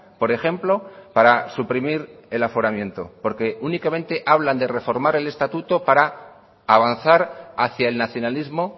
por ejemplo para suprimir el aforamiento porque únicamente hablan de reformar el estatuto para avanzar hacia el nacionalismo